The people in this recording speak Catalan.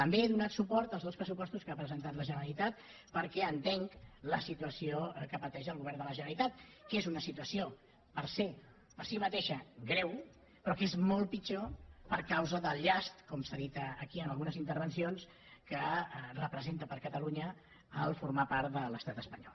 també he donat suport als dos pressupostos que ha presentat la generalitat perquè entenc la situació que pateix el govern de la generalitat que és una situació per se per si mateixa greu però que és molt pitjor per causa del llast com s’ha dit aquí en algunes intervencions que representa per a catalunya formar part de l’estat espanyol